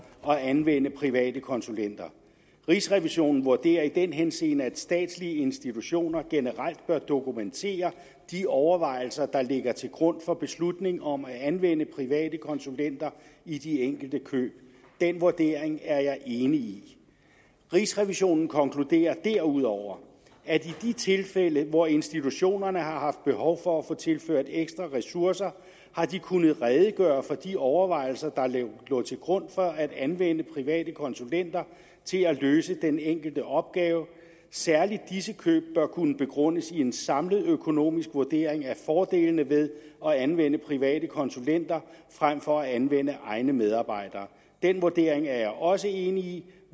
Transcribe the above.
at anvende private konsulenter rigsrevisionen vurderer i den henseende at statslige institutioner generelt bør dokumentere de overvejelser der ligger til grund for beslutningen om at anvende private konsulenter i de enkelte køb den vurdering er jeg enig i rigsrevisionen konkluderer derudover at i de tilfælde hvor institutionerne har haft behov for at få tilført ekstra ressourcer har de kunnet redegøre for de overvejelser der lå til grund for at anvende private konsulenter til at løse den enkelte opgave særlig disse køb bør kunne begrundes i en samlet økonomisk vurdering af fordelene ved at anvende private konsulenter frem for at anvende egne medarbejdere den vurdering er jeg også enig i